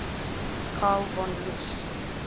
karl von loesch